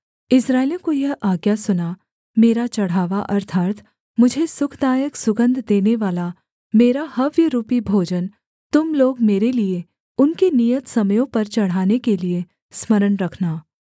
इस्राएलियों को यह आज्ञा सुना मेरा चढ़ावा अर्थात् मुझे सुखदायक सुगन्ध देनेवाला मेरा हव्यरूपी भोजन तुम लोग मेरे लिये उनके नियत समयों पर चढ़ाने के लिये स्मरण रखना